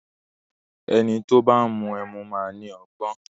Ẹni tó bá ń mú ẹmu máa ni ọgbọ́n.